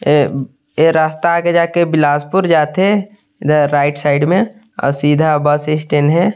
ये बी ये रास्ता आगे जेक बिलासपुर जा थे एग राइट साइड में अउ सीधा बस स्टैंड हे।